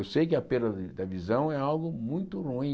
Eu sei que a perda de da visão é algo muito ruim.